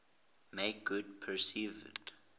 make good perceived